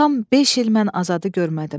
Tam beş il mən Azadı görmədim.